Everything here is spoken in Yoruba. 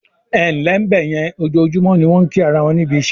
"Ẹǹlẹ́ bẹ̀yẹn", ojoojúmọ́ ni wọ́n ń kí ara won níbi iṣẹ́